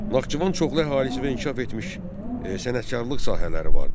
Naxçıvan çoxlu əhalisi və inkişaf etmiş sənətkarlıq sahələri vardı.